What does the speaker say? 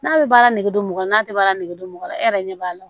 N'a bɛ baara nege mɔgɔ n'a tɛ baara nege don mɔgɔ la e yɛrɛ ɲɛ b'a la